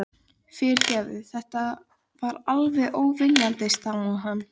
Þegar voraði á ný fóru að heyrast torkennileg hljóð.